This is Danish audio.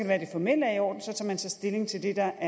være det formelle er i orden og så tager man så stilling til det der